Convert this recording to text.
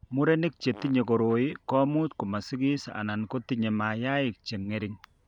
Murenik che tinye koroi ko much komasigis anan kotinye mayaik che ng'ering'.